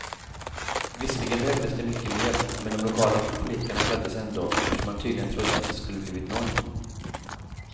Visserligen behövdes det mycket mer, men de lokala politikerna gladdes ändå, eftersom man tydligen trodde att det skulle blivit noll.